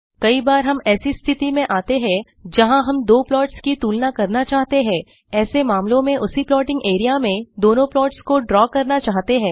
कई बार हम ऐसी स्थिति में आते हैं जहाँ हम दो प्लॉट्स की तुलना करना चाहते हैं ऐसे मामलों में उसी प्लॉटिंग एरिया में दोनों प्लॉट्स को ड्रा करना चाहते हैं